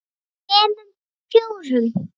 þremur. fjórum.